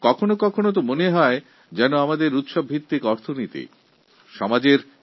কখনো কখনো মনে হয় ভারত এমন একটা দেশ যেখানে উৎসবের সঙ্গে অর্থনীতিও জুড়ে রয়েছে